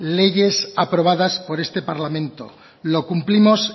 leyes aprobadas por este parlamento lo cumplimos